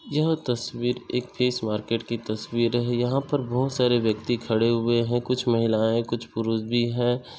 यह तस्वीर एक फिश मार्केट की तस्वीर है। यह पर बहुत सारे व्यक्ति खड़े हुए है। कुछ महिलाएं कुछ पुरुष भी है।